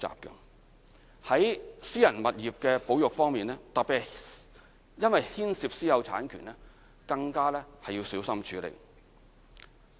在私人物業的保育方面，特別因為牽涉私有產權，更加要小心處理。